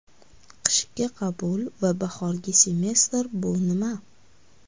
Qishki qabul va bahorgi semestr bu nima?